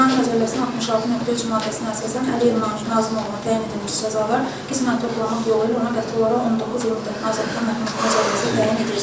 Cinayət Məcəlləsinin 66.3 maddəsinə əsasən Əliyev Nahid Nazim oğluna təyin edilmiş cəzalar qismən toplanmaq yolu ilə ona qəti olaraq 19 il müddətinə azadlıqdan məhrum etmə cəzası təyin edilsin.